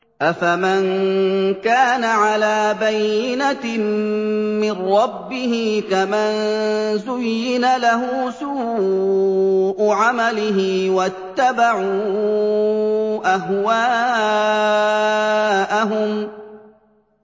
أَفَمَن كَانَ عَلَىٰ بَيِّنَةٍ مِّن رَّبِّهِ كَمَن زُيِّنَ لَهُ سُوءُ عَمَلِهِ وَاتَّبَعُوا أَهْوَاءَهُم